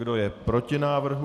Kdo je proti návrhu?